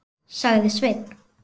sagði Sveinn.